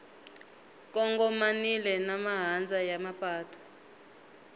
kongomanile na mahandza ya mapatu